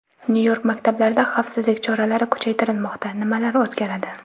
Nyu-York maktablarida xavfsizlik choralari kuchaytirilmoqda: nimalar o‘zgaradi?.